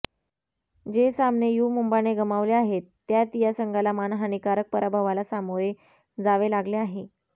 जे सामने यु मुंबाने गमावले आहेत त्यात या संघाला मानहानीकारक पराभवाला सामोरे जावे लागले आहे